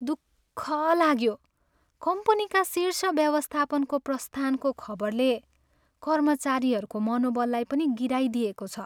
दुख लाग्यो कम्पनीका शीर्ष व्यवस्थापनको प्रस्थानको खबरले कर्मचारीहरूको मनोबललाई पनि गिराइदिएको छ।